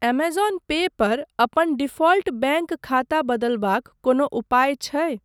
Amazon पे पर अपन डिफ़ॉल्ट बैंक खाता बदलबाक कोनो उपाय छै ?